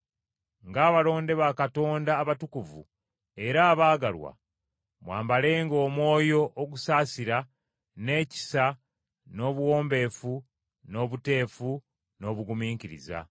Ng’abalonde ba Katonda abatukuvu era abaagalwa, mwambalenga omwoyo ogusaasira, n’ekisa, n’obuwombeefu, n’obuteefu, n’obugumiikiriza.